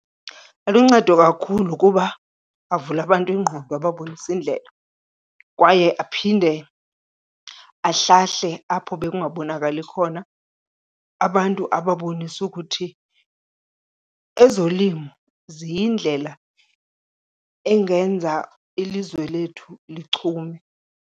Aluncedo kakhulu kuba avula abantu ingqondo ababonise indlela kwaye aphinde ahlahle apho bekungabonakali khona, abantu ababonise ukuthi ezolimo ziyindlela engenza ilizwe lethu lichume.